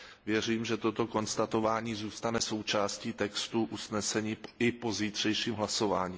Věřím, že toto konstatování zůstane součástí textu usnesení i po zítřejším hlasování.